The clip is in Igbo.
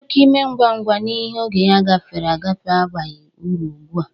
Oke ime ngwa ngwa n'ihe oge ya gafere agafe abaghi uru obua.